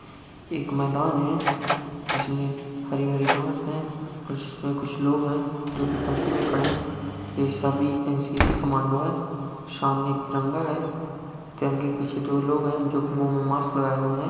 एक मैदान है जिसमे हरी-हरी घास हैं। इसमे कुछ लोग हैं जो कि पंक्ति में खड़े हैं। ये सभी एनसीसी कमांडो है सामने एक तिरंगा है। तिरंगे के पीछे दो लोग हैं जो कि मुंह में माक्स लगाए हुए हैं।